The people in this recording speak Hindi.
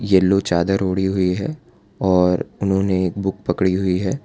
येलो चादर ओढ़ी हुई है और उन्होंने एक बुक पड़ी हुई है।